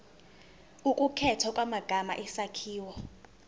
ukukhethwa kwamagama isakhiwo